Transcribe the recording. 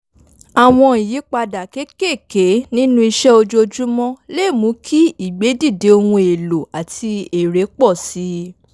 àwọn ìyípadà kéékèèké nínú ìṣe ojoojúmọ́ lè mú kí ìgbèdìde ohun èlòo àti èrè pọ̀ si